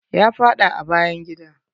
Ya faɗa a bayan gida.